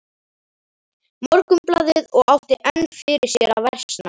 Morgunblaðið og átti enn fyrir sér að versna.